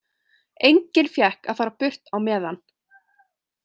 Enginn fékk að fara burt á meðan.